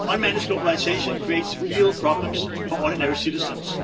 Unmanaged globalisation creates real problems for ordinary citizens.